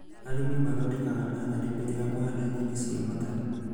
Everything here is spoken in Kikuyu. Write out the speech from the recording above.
Arĩmi mathondekaga nathari mbere ya kũhanda nyeni cia matharũ